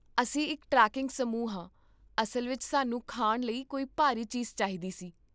ਅਸੀਂ ਇੱਕ ਟ੍ਰੈਕਿੰਗ ਸਮੂਹ ਹਾਂ, ਅਸਲ ਵਿੱਚ ਸਾਨੂੰ ਖਾਣ ਲਈ ਕੋਈ ਭਾਰੀ ਚੀਜ਼ ਚਾਹੀਦੀ ਸੀ